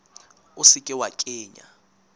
o se ke wa kenya